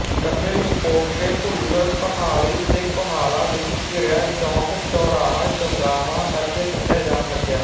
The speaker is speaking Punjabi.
ਕਦੇ ਲੋਪੋਕੇ ਭੁੱਲਰ ਕੋਹਾਲੀ ਤੇ ਕੋਹਾਲਾ ਵਿੱਚ ਘਿਰਿਆ ਚੌਕ ਚੌਰਾਹਾ ਚੌਗਾਵਾਂ ਕਰਕੇ ਸੱਦਿਆ ਜਾਣ ਲੱਗਿਆ